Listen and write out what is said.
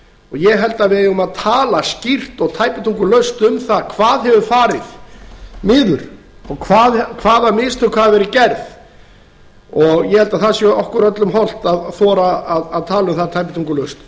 ég held að við eigum að tala skýrt og tæpitungulaust um það hvað hefur farið niður og hvaða mistök hafi verið gerð ég held að það sé okkur öllum hollt að þora að tala um það tæpitungulaust